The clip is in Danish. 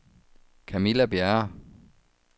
Camilla Bjerre